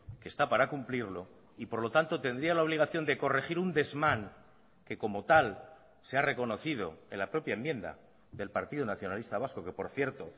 que está para cumplirlo y por lo tanto tendría la obligación de corregir un desmán que como tal se ha reconocido en la propia enmienda del partido nacionalista vasco que por cierto